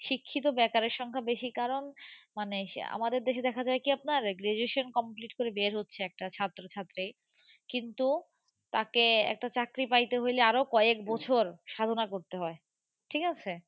শিক্ষিত বেকারের সংখ্যা বেশি কারণ, মানে আমাদের দেশে দেখা যায় কি আপনার graduation complete করে বের হচ্ছে একটা ছাত্র ছাত্রী কিন্তু, তাকে একটা চাকরি পাইতে হইলে আরো কয়েক বছর সাধনা করতে হয়।